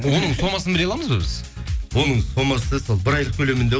оның сомасын біле аламыз ба біз оның сомасы сол бір айлық көлемінде